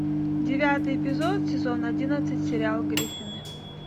девятый эпизод сезон одиннадцать сериал гриффины